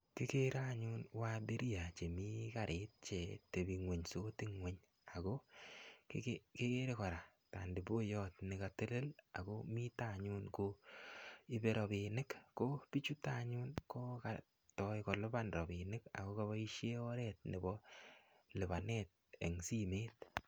Kikere anyun waabiria chemii karit che tebing'unysot ng'uny. Ako kike-kekere kora taniboiyot nekatelel, akomite anyun koibe rabinik. Ko bichuto anyun kokatoi kolipan rabinik. Ako kaboisie oret nebo lipanet eng simet.